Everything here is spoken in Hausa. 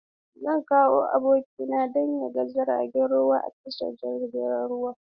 Zan kawo abokina don ya ga jiragen ruwa a tashar jiragen ruwa.